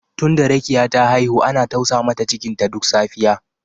Tunda Rekiya ta haihu ana tausa mata cikinta duk safiya